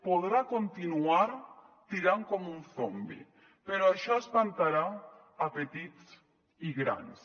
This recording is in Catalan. podrà continuar tirant com un zombi però això espantarà a petits i grans